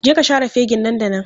Je ka share fegin nan da nan!